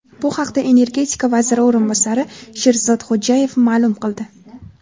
Bu haqda energetika vaziri o‘rinbosari Sherzod Xo‘jayev ma’lum qildi.